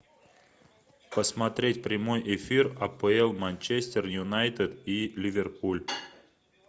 посмотреть прямой эфир апл манчестер юнайтед и ливерпуль